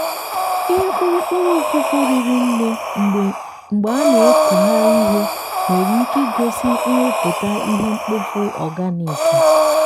ihe kpụrụkpụrụ ụfụfụ riri nne mgbe a na-ekugharị ihe nwere ike igosi nrụpụta ihe mkpofu organic.